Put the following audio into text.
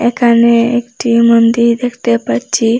এখানে একটি মন্দির দেখতে পাচ্চি।